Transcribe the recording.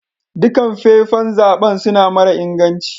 Dukan fefan zaben suna mara inganci.